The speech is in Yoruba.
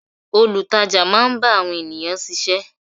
Olutaja máa ń bá àwọn ènìyàn sise.